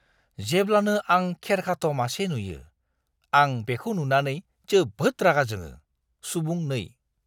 जेब्लानो आं खेरखाथ' मासे नुयो, आं बेखौ नुनानै जोबोद रागा जोङो। (सुबुं 2)